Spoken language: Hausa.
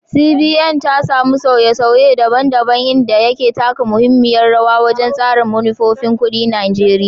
CBN, ta samu sauye-sauye daban-daban, inda ya taka muhimmiyar rawa wajen tsara manufofin kuɗin Najeriya.